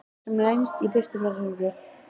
Sem lengst í burtu frá þessu húsi.